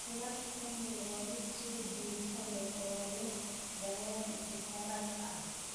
Salad Fennel waa mid soo jiidasho leh oo leh dareen licorice ah.